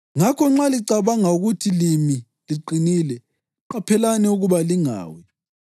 Ngakho nxa licabanga ukuthi limi liqinile, qaphelani ukuba lingawi.